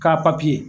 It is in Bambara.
K'a